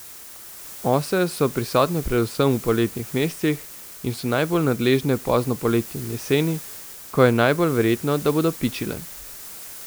Ose so prisotne predvsem v poletnih mesecih in so najbolj nadležne pozno poleti in jeseni, ko je najbolj verjetno, da bodo pičile.